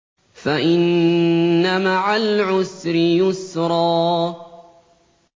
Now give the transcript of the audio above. فَإِنَّ مَعَ الْعُسْرِ يُسْرًا